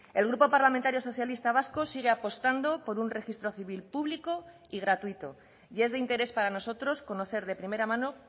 el grupo parlamentario socialista vasco sigue apostando por un registro civil público y gratuito y es de interés para nosotros conocer de primera mano